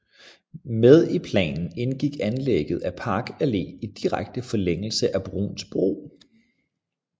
Med i planen indgik anlægget af Park Allé i direkte forlængelse af Bruuns Bro